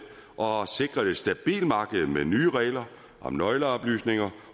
og har sikret et stabilt marked med nye regler om nøgleoplysninger